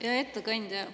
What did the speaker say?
Hea ettekandja!